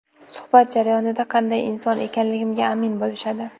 Suhbat jarayonida qanday inson ekanligimga amin bo‘lishadi.